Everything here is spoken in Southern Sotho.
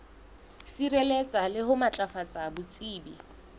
sireletsa le ho matlafatsa botsebi